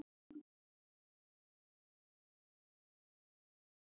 Bananarnir leggja af stað með Geddu í mygluholuna.